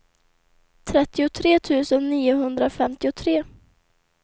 trettiotre tusen niohundrafemtiotre